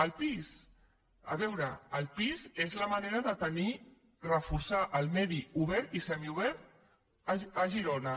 el pis a veure el pis és la manera de reforçar el medi obert i semiobert a girona